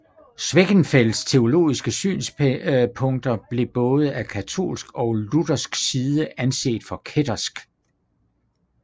Schwenckfelds teologiske synspunkter blev både af katolsk og luthersk side anset for kættersk